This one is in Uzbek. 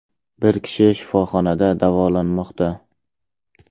Bir kishi shifoxonada davolanmoqda.